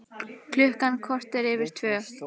Klukkan korter yfir tvö